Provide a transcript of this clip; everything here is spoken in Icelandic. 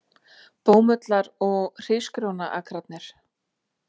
Bómullar- og hrísgrjónaakrarnir.